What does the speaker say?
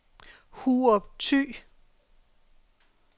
Hurup Thy